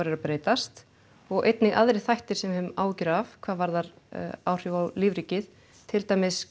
er að breytast og einnig aðrir þættir sem við höfum áhyggjur af hvað varðar áhrif á lífríkið til dæmis